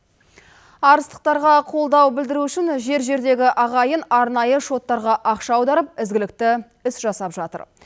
арыстықтарға қолдау білдіру үшін жер жердегі ағайын арнайы шоттарға ақша аударып ізгілікті іс жасап жатыр